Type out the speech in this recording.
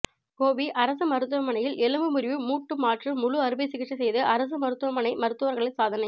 கோபி அரசு மருத்துவமனையில் எலும்பு முறிவு மூட்டு மாற்று முழு அறுவை சிகிச்சை செய்து அரசு மருத்துவமனை மருத்தவர்கள் சாதனை